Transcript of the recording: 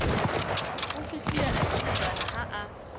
ofihlile a idibana ha a